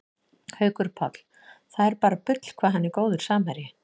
Haukur Páll, það er bara bull hvað hann er góður samherji